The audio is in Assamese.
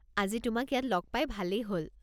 আজি তোমাক ইয়াত লগ পাই ভালেই হ'ল।